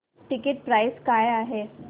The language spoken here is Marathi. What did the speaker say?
टिकीट प्राइस काय आहे